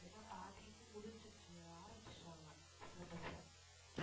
ஏன்னா பாதி இது முடிஞ்சிருச்சு ஆரம்பிச்சுட்டாங்க syllabus அ